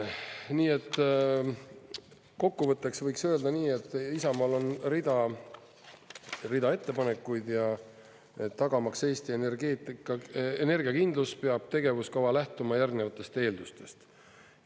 Nii et kokkuvõtteks võiks öelda nii, et Isamaal on rida ettepanekuid ja tagamaks Eesti energeetika energiakindlus peab tegevuskava lähtuma järgnevatest eeldustest.